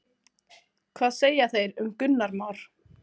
Hvað segja þeir um Gunnar Már?